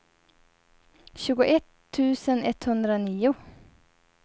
tjugoett tusen etthundranio